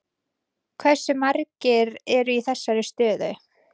Hversu margir eru í þessari stöðu?